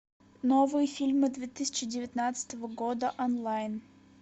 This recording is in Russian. новые фильмы две тысячи девятнадцатого года онлайн